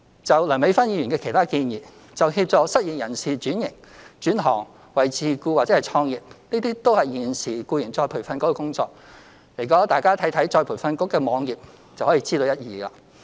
至於梁美芬議員的其他建議，就協助失業人士轉行、轉型為自僱或創業，這都是現時再培訓局的工作，大家看看再培訓局的網頁便知一二。